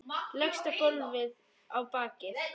Leggst á gólfið á bakið.